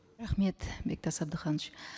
рахмет бектас абдыханович